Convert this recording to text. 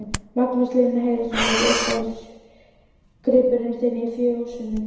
Magnús Hlynur Hreiðarsson: Er hún uppáhaldsgripurinn þinn í fjósinu?